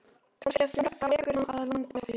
Kannski eftir mörg ár rekur hana að landi í fjörunni.